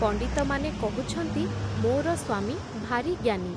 ପଣ୍ଡିତମାନେ କହୁଛନ୍ତି, ମୋର ସ୍ଵାମୀ ଭାରି ଜ୍ଞାନୀ ।